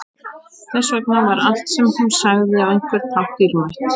Þess vegna var allt sem hún sagði á einhvern hátt dýrmætt.